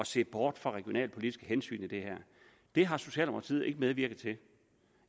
se bort fra regionalpolitiske hensyn i det her det har socialdemokratiet ikke medvirket til